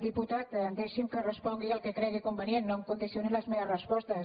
diputat deixi’m que respongui el que cregui convenient no em condicioni les meves respostes